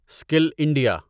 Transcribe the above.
skill India